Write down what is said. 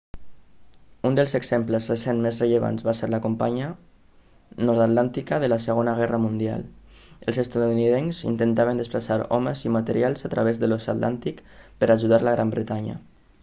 un dels exemples recents més rellevants va ser la campanya nord-atlàntica de la segona guerra mundial els estatunidencs intentaven desplaçar homes i materials a través de l'oceà atlàntic per ajudar la gran bretanya